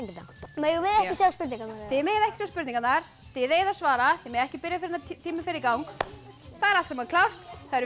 megum við ekki sjá spurningarnar þið megið ekki sjá spurningarnar þið eigið að svara þið megið ekki byrja fyrr en tíminn fer í gang það er allt saman klárt